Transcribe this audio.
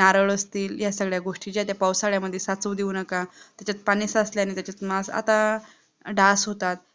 नारळ असतील ह्या सगळ्या गोष्टी ज्या आहे त्या पावसाळ्यामध्ये साचू देऊ नका त्याच्यात पाणी साचल्याने त्याच्यात आता डास होतात